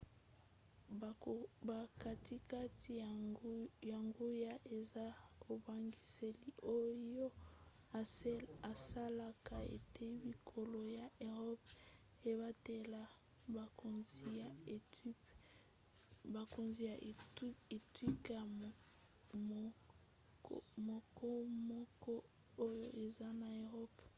bokatikati ya nguya eza ebongiseli oyo esalaka ete bikolo ya eropa ebatela bokonzi ya etuka mokomoko oyo eza na eropa